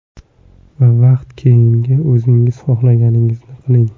Va faqat keyingina o‘zingiz xohlaganingizni qiling.